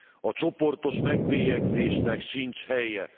A csoportos megbélyegzésnek sincs helye.